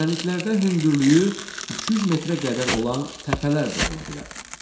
Düzənliklərdə hündürlüyü 200 metrə qədər olan təpələr də ola bilər.